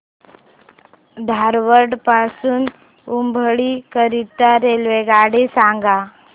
धारवाड पासून हुबळी करीता रेल्वेगाडी सांगा